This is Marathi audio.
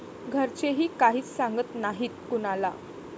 घरचेही काहीच सांगत नाहीत कुणाला.